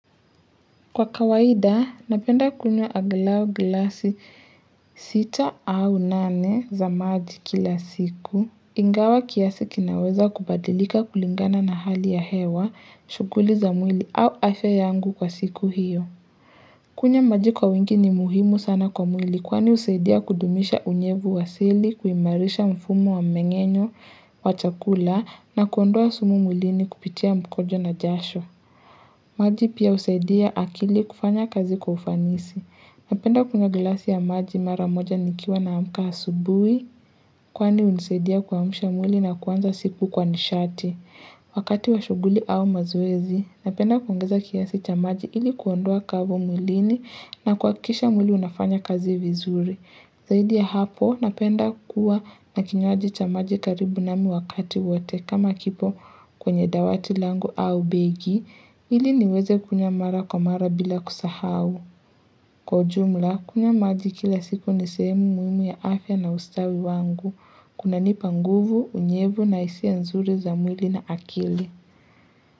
Kwa kawaida, napenda kunywa angalau glasi sita au nane za maji kila siku. Ingawa kiasi kinaweza kubadilika kulingana na hali ya hewa, shughuli za mwili au afya yangu kwa siku hiyo. Kunywa maji kwa wingi ni muhimu sana kwa mwili kwani husaidia kudumisha unyevu wa asili, kuimarisha mfumo wa mmeng'enyo, wa chakula na kuondoa sumu mwilini kupitia mkojo na jasho. Maji pia husaidia akili kufanya kazi kwa ufanisi. Napenda kunywa glasi ya maji maramoja nikiwa naamka asubuhi kwani hunisaidia kwa kuamsha mwili na kuanza siku kwa nishati. Wakati wa shuguli au mazoezi, napenda kuongeza kiasi cha maji ili kuondoa ukavu mwilini na kuhakikisha mwili unafanya kazi vizuri. Zaidi ya hapo, napenda kuwa na kinywaji cha maji karibu namimi wakati wote kama kipo kwenye dawati langu au begi, ili niweze kunywa mara kwa mara bila kusahau. Kwa jumla, kunywa maji kila siku ni sehemu muhimu ya afya na ustawi wangu. Kuna nipa nguvu, unyevu na hisia nzuri za mwili na akili.